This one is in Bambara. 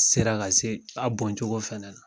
N sera ka se a bɔn cogo fɛnɛ na.